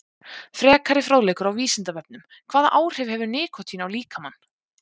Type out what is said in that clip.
Frekari fróðleikur á Vísindavefnum: Hvaða áhrif hefur nikótín á líkamann?